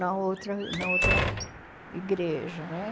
Na outra na outra igreja, né?